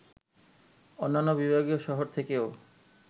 অন্যান্য বিভাগীয় শহর থেকেও